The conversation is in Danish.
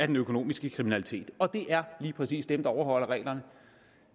den økonomiske kriminalitet og det er lige præcis dem der overholder reglerne